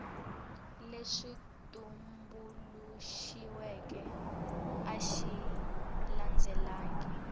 lexi tumbuluxiweke a xi landzelelangi